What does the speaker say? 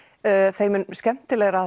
þeim mun skemmtilegra